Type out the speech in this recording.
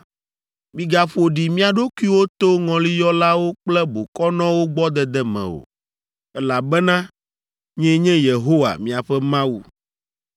“ ‘Migaƒo ɖi mia ɖokuiwo to ŋɔliyɔlawo kple bokɔnɔwo gbɔ dede me o, elabena nyee nye Yehowa, miaƒe Mawu.